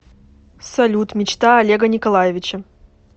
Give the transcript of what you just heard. салют мечта олега николаевича